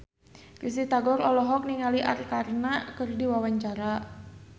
Risty Tagor olohok ningali Arkarna keur diwawancara